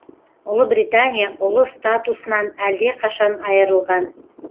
ұлы британия ұлы статусынан әлдеқашан айырылған